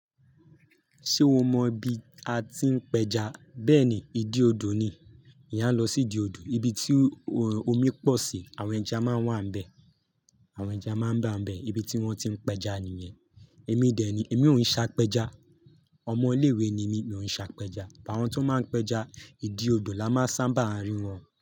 Ṣé o mọ ibi a ti ń pẹja? Bẹ́ẹ̀ ni, ìdí odò ni. Eyán à lọ sí ìdí odò, ibi tí omi pọ̀ sí, àwọn ẹja máa ń wà ń bẹ̀. Àwọn ẹja máa ń bà ń bẹ̀, ibi tí wọ́n ti ń pẹja nìyẹn. Èmi dè ní, èmi ò ń ṣe apẹja. Ọmọ ilé ìwé ni mí, mo ń ṣe apẹja. Àwọn tó máa ń pẹja, ìdí odò la máa ń sábà rí wọn.